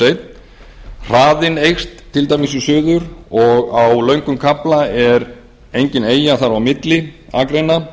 fyrstu hraðinn eykst til dæmis í suður og á löngum kafla er engin eyja þar á milli akreina